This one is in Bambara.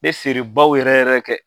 Bɛ feerebaw yɛrɛ yɛrɛ kɛ.